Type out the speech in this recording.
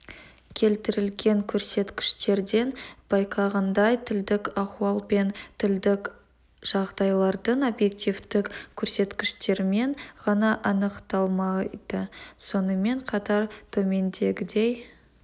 келтірілген көрсеткіштерден байқағандай тілдік ахуал пен тілдік жағдайлардың объективтік көрсеткіштерімен ғана анықталмайды сонымен қатар төмендегідей